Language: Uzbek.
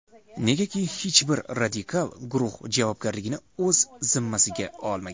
Negaki hech bir radikal guruh javobgarlikni o‘zi zimmasiga olmagan.